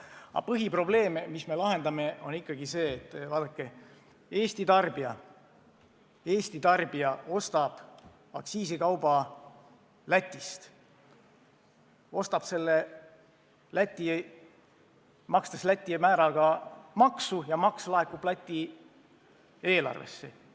Aga põhiprobleem, mida me lahendame, on ikkagi see, et Eesti tarbija ostab aktsiisikauba Lätist, ostab selle, makstes Läti määraga maksu, ja maks laekub Läti eelarvesse.